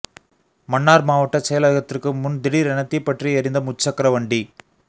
மன்னார் மாவட்டச் செயலகத்திற்கு முன் திடீர் என தீப்பற்றி எறிந்த முச்சக்கர வண்டி